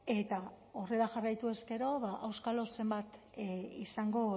eta horrela jarraituz gero auskalo zenbat izango